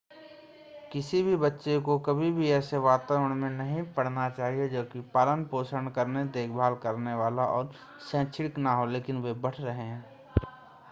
किसी भी बच्चे को कभी भी ऐसे वातावरण में नहीं बढ़ना चाहिए जो कि पालन पोषण करने देखभाल करने वाला और शैक्षणिक न हो लेकिन वे बढ़ रहे हैं